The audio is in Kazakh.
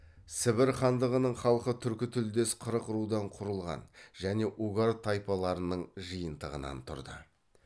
сібір хандығының халқы түркі тілдес қырық рудан құрылған және угар тайпаларының жиынтығынан тұрды